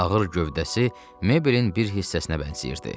Ağır gövdəsi mebelin bir hissəsinə bənzəyirdi.